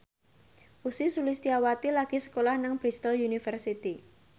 Ussy Sulistyawati lagi sekolah nang Bristol university